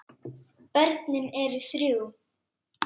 Börnin eru þrjú.